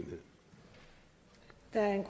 der